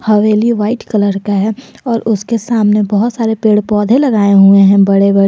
हवेली white colour का है और उसके सामने बहुत सारे पेड़ पौधे लगाए हुए हैं बड़े बड़े।